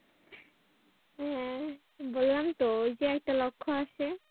হ্যাঁ বললামতো ঐ যে একটা লক্ষ্য আছে।